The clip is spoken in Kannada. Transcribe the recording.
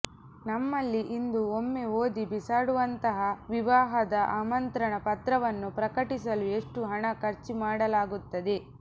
ನಮ್ಮಲ್ಲಿ ಇಂದು ಒಮ್ಮೆ ಓದಿ ಬಿಸಾಡುವಂತಹ ವಿವಾಹದ ಆಮಂತ್ರಣ ಪತ್ರವನ್ನು ಪ್ರಕಟಿಸಲು ಎಷ್ಟು ಹಣ ಖರ್ಚು ಮಾಡಲಾಗುತ್ತದೆ